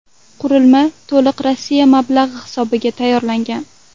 Qurilma to‘liq Rossiya mablag‘i hisobiga tayyorlangan.